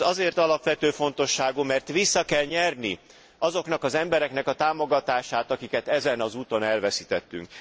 Ez azért alapvető fontosságú, mert vissza kell nyerni azoknak az embereknek a támogatását, akiket ezen az úton elveszítettünk.